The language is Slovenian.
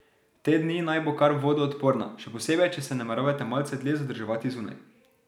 Te dni naj bo kar vodoodporna, še posebej če se nameravate malce dlje zadrževati zunaj.